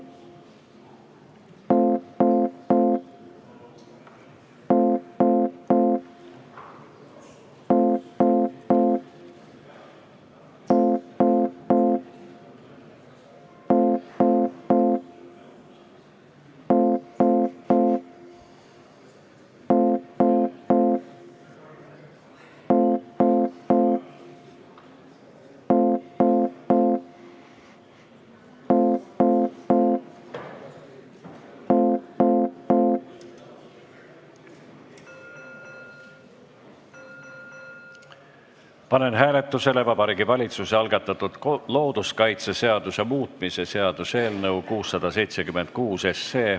Panen hääletusele Vabariigi Valitsuse algatatud looduskaitseseaduse muutmise seaduse eelnõu 676.